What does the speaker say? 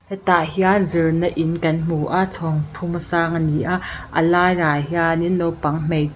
hetah hian zirna in kan hmu a chhawng thuma sang ani a a laiah hianin naupang hmeichh--